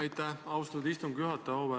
Aitäh, austatud istungi juhataja!